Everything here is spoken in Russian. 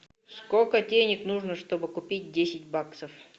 сколько денег нужно чтобы купить десять баксов